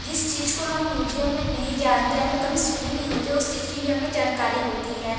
जिस चीज को हम म्यूजियम में नहीं जानते या फिर कभी सुने नहीं होते उस चीज की भी हमें जानकारी होती है।